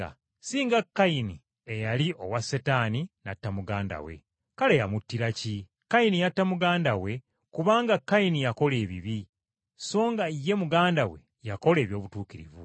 si nga Kayini eyali owa Setaani, n’atta muganda we. Kale yamuttira ki? Kayini yatta muganda we kubanga Kayini yakola ebibi, so nga ye muganda we yakola eby’obutuukirivu.